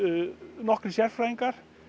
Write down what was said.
nokkrir sérfræðingar